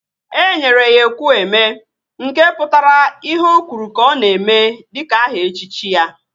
E nyere ya Ekwueme, nke pụtara ihe ọ kwuru ka ọ na-eme dịka aha echichi ya